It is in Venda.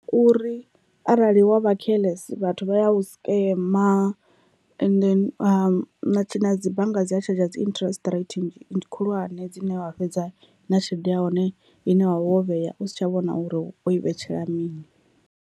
Uri arali wa vha careless vhathu vha ya u scamer ende na tshi na dzi bannga dzi ya tshadzha dzi interest rate khulwane dzine wa fhedza na tshelede ya hone ine wavha wo vhea u si tsha vhona uri wo i vhetshela mini.